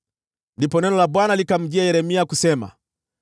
Ndipo neno la Bwana likamjia Yeremia kusema: